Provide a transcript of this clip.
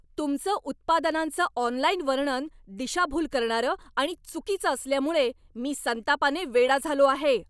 तुमचं उत्पादनांचं ऑनलाइन वर्णन दिशाभूल करणारं आणि चुकीचं असल्यामुळे मी संतापाने वेडा झालो आहे.